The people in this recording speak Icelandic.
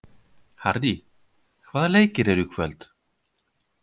Harrý, hvaða leikir eru í kvöld?